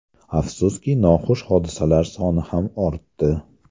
Afsuski, noxush hodisalar soni ham ortdi.